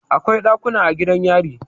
Akwai ɗakuna a gidan yari.